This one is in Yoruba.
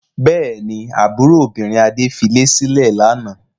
Bẹ́ẹ̀ ni, àbúrò obìnrin Adé filé sílẹ̀ lánàá.